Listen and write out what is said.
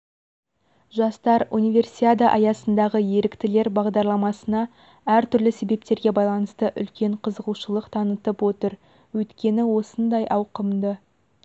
жастар универсиада аясындағы еріктілер бағдарламасына әр түрлі себептерге байланысты үлкен қызығушылық танытып отыр өйткені осындай ауқымды